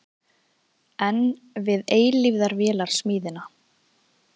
Enn við eilífðarvélarsmíðina?